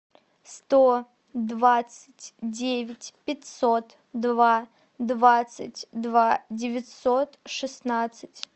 сто двадцать девять пятьсот два двадцать два девятьсот шестнадцать